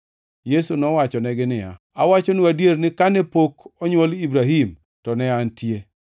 Yesu nowachonegi niya, “Awachonu adier ni kane pok onywol Ibrahim, to ne Antie!”